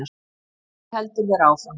Ég vil heldur vera áfram.